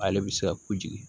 Ale bɛ se ka kojigin